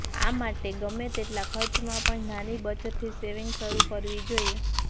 આ માટે ગમે તેટલા ખર્ચમાં પણ નાની બચતથી સેવિંગ શરૂ કરવું જોઇએ